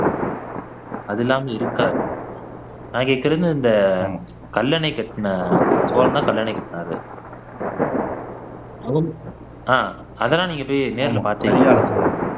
அது இல்லாம இருக்காது நான் கேக்குறது இந்த கல்லணை கட்டுன சோழன் தான் கல்லணை கட்டினாரு ஆஹ் அதெல்லாம் போய் நீங்க நேர்ல பார்த்தீங்களா